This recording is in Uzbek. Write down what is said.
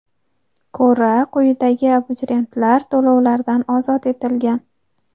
ko‘ra, quyidagi abituriyentlar to‘lovlardan ozod etilgan:.